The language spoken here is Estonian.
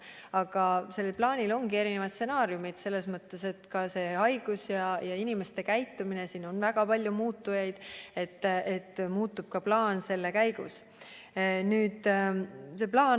Aga sellel plaanil ongi erinevad stsenaariumid, sest pandeemia kulus ja inimeste käitumises on väga palju muutujaid ja selle käigus muutub ka meie plaan.